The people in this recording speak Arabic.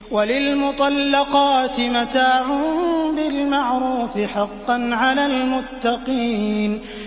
وَلِلْمُطَلَّقَاتِ مَتَاعٌ بِالْمَعْرُوفِ ۖ حَقًّا عَلَى الْمُتَّقِينَ